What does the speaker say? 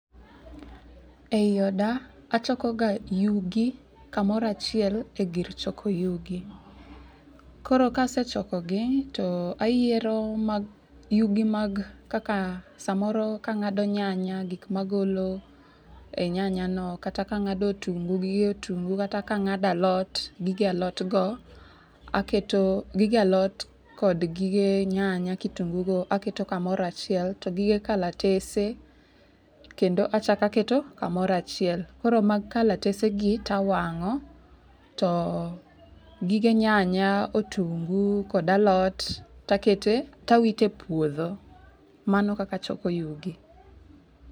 Ei oda, achoko ga yugi kamoro achiel e gir choko yugi. Koro kasechoko gi, to ayiero mag, yugi mag, kaka samoro kang'ado nyanya gik ma agolo e nyanya no, kata kang'ado otungo gige otungu, kata kang'ado alot gige alot go. Aketo gige alot kod gige nyanya kitungu go aketo kamoro achiel, to gige kalatese kendo achak aketo kamoro achiel. Koro mag kalatese gi tawang'o, to gige nyanya otungu kod alot takete tawito e puodho. Mano kaka achoko yugi.